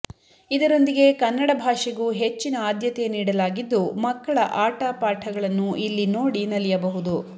ಇದರೊಂದಿಗೆ ಕನ್ನಡ ಭಾಷೆಗೂ ಹೆಚ್ಚಿನ ಆದ್ಯತೆ ನೀಡಲಾಗಿದ್ದು ಮಕ್ಕಳ ಆಟ ಪಾಠಗಳನ್ನು ಇಲ್ಲಿ ನೋಡಿ ನಲಿಯಬಹುದು